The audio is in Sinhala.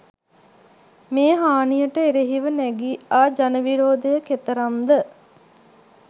මේ හානියට එරෙහිව නැඟී ආ ජන විරෝධය කෙතරම් ද?